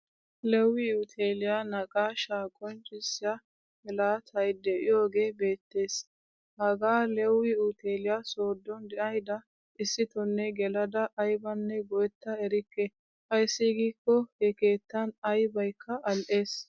Lewiuteliyaa naaqashsha qonccisiyaa mlaattay deiyoge beettees. Hagaa lewi uteliyaa soodon deayda issitonne gelada aybane goetta erikke. Ayssi giikko he keettan aybaykke al'ees.